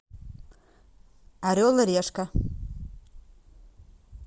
орел и решка